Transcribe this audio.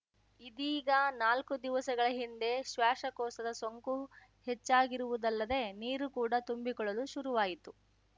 ಇದೀಗ ನಾಲ್ಕು ದಿವಸಗಳ ಹಿಂದೆ ಶ್ವಾಸಕೋಶದ ಸೋಂಕು ಹೆಚ್ಚಾಗಿರುವುದಲ್ಲದೆ ನೀರು ಕೂಡ ತುಂಬಿಕೊಳ್ಳಲು ಶುರುವಾಯಿತು